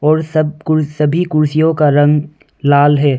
और सब कु कुर्सियों का रंग लाल है।